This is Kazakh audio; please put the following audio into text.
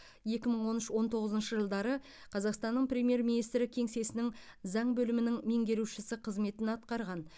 екі мың он үш он тоғызыншы жылдары қазақстанның премьер министрі кеңсесінің заң бөлімінің меңгерушісі қызметін атқарған